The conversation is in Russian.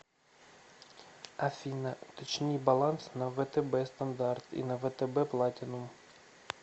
афина уточни баланс на втб стандарт и на втб платинум